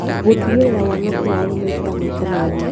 Gũtigĩrĩra wanake wao nĩmaikara maica mega